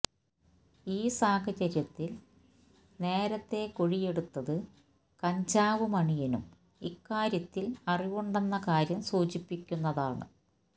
ഈ സാഹചര്യത്തിൽ നേരത്തെ കുഴിയെടുത്തത് കഞ്ചാവ് മണിയനും ഇക്കാര്യത്തിൽ അറിവുണ്ടെന്ന കാര്യം സൂചിപ്പിക്കുന്നതാണ്